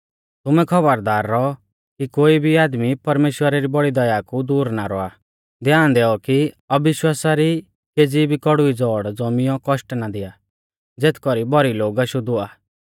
तुमै खौबरदार रौऔ कि कोई भी आदमी परमेश्‍वरा री बौड़ी दया कु दूर ना रौआ ध्यान दैऔ कि अविश्वासा री केज़ी भी कौड़ुवी ज़ौड़ ज़ौमियौ कौष्ट ना दिया ज़ेथ कौरी भौरी लोग अशुद्ध हुआ